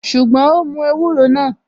Ṣùgbọ́n, ó mú ewúro náà